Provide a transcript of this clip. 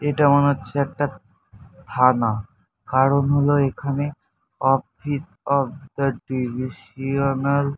এটা মনে হচ্ছে একটা থানা। কারণ হলো এখানে অফিস অফ দা ডিভিসিয়ানাল --